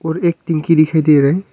और एक टिंकी दिखाई दे रहा है।